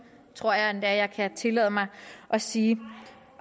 tror jeg endda jeg kan tillade mig at sige